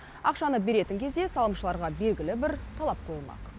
ақшаны беретін кезде салымшыларға белгілі бір талап қойылмақ